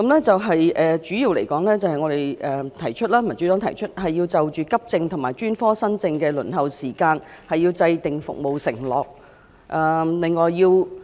主要來說，民主黨提議要就急症和專科新症的輪候時間制訂服務承諾。